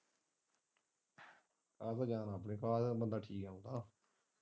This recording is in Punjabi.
ਇਹ ਤੇ ਹੈ ਇਹ ਤਾ ਬੰਦਾ ਠੀਕ ਹੈ।